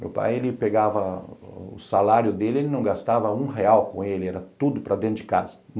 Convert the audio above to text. Meu pai, ele pegava o salário dele, ele não gastava um real com ele, era tudo para dentro de casa.